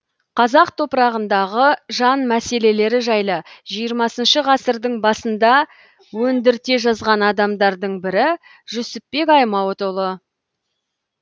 қазақ топырағындағы жан мәселелері жайлы жиырмасыншы ғасырдың басында өндірте жазған адамның бірі жүсіпбек аймауытұлы